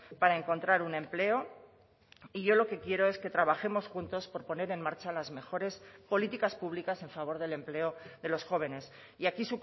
para encontrar un empleo y yo lo que quiero es que trabajemos juntos por poner en marcha las mejores políticas públicas en favor del empleo de los jóvenes y aquí